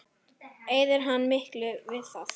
Eyðir hann miklu við það?